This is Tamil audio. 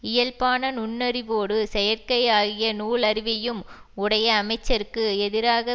இயல்பான நுண்ணறிவோடு செயற்கை ஆகிய நூல் அறிவையும் உடைய அமைச்சருக்கு எதிராக